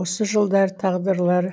осы жылдары тағдырлары